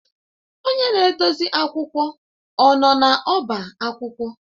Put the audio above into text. Onye na-edozi akwụkwọ ọ nọ n'ọba akwụkwọ?